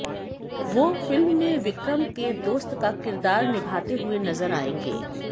वो फिल्म में विक्रम के दोस्त का किरदार निभाते हुए नजर आयेंगे